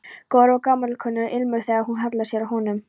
Góður og gamalkunnur ilmur þegar hún hallar sér að honum.